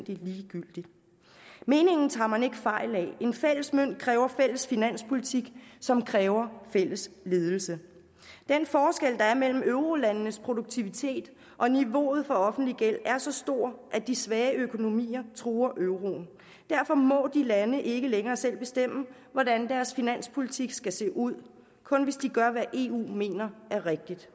ligegyldigt meningen tager man ikke fejl af en fælles mønt kræver fælles finanspolitik som kræver fælles ledelse den forskel der er mellem eurolandenes produktivitet og niveauet for offentlig gæld er så stor at de svage økonomier truer euroen derfor må de lande ikke længere selv bestemme hvordan deres finanspolitik skal se ud kun hvis de gør hvad eu mener er rigtigt